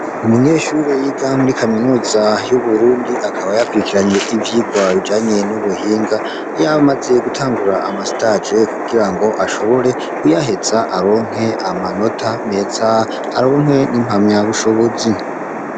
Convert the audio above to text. Umunyeshuri yiga muri kaminuza y'uburundi akaba yakurikiranye ivyirwa bijanye n'ubuhinga yamaze gutangura amasitaje kugira ngo ashobore kuyaheza aronke amanota meza aronke n'impamya bushobozi.